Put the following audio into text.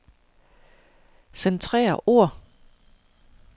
Centrer ord.